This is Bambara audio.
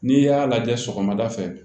N'i y'a lajɛ sɔgɔmada fɛ